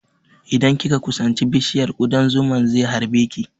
Idan kika kusanci bishiyar, ƙudan zuman ze harbe ki